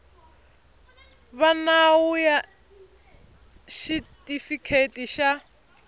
va nawu ya xitifiketi xa